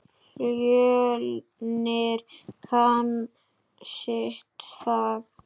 Fjölnir kann sitt fag.